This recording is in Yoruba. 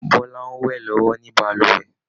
Bọla ń wẹ̀ lọ́wọ́ ní balùwẹ̀